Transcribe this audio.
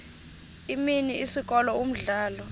imini isikolo umdlalo